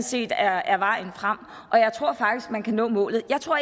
set er er vejen frem og jeg tror faktisk man kan nå målet jeg tror